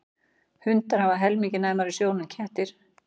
Hundar hafa helmingi næmari sjón en kettir.